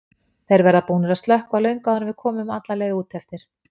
Þeir verða búnir að slökkva löngu áður en við komum alla leið út eftir.